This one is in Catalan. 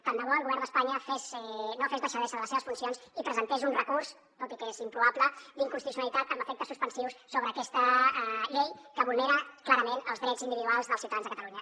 tant de bo el govern d’espanya no fes deixadesa de les seves funcions i presentés un recurs tot i que és improbable d’inconstitucionalitat amb efectes suspensius sobre aquesta llei que vulnera clarament els drets individuals dels ciutadans de catalunya